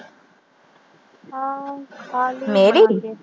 ਮੇਰੀ